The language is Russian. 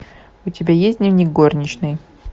у тебя есть дневник горничной